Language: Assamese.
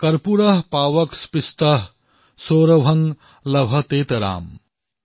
কৰ্পুৰঃ পাৱক স্পৃষ্টঃ সৌৰভঃ লভতেতৰাম